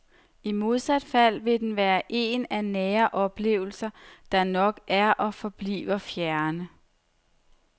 I modsat fald vil den være en af nære oplevelser, der nok er og forbliver fjerne.